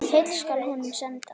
Heill skal honum senda.